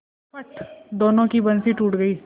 फट दोनों की बंसीे टूट गयीं